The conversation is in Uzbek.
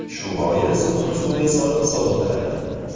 Shu bois uni suvga solib sovitiladi.